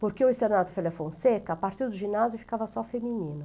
Porque o Externato Felha Fonseca, a partir do ginásio, ficava só feminino.